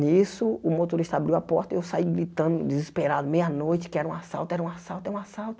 Nisso, o motorista abriu a porta e eu saí gritando desesperado, meia noite, que era um assalto, era um assalto, é um assalto.